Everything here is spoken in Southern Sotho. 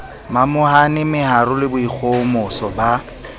momahane meharo le boikgohomoso ba